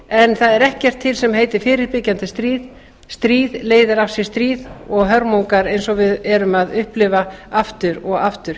það er ekkert til sem heitir fyrirbyggjandi stríð stríð leiðir af sér stríð og hörmungar eins og við erum að upplifa aftur og aftur